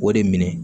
O de minɛ